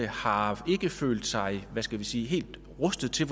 har følt sig hvad skal vi sige helt rustet til